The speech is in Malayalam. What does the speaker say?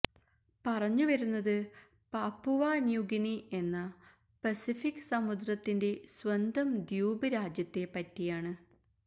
പറഞ്ഞുവരുന്നത് പാപ്പുവ ന്യൂഗിനി എന്ന പസഫിക് സമുദ്രത്തിന്റെ സ്വന്തം ദ്വീപ് രാജ്യത്തെപ്പറ്റിയാണ്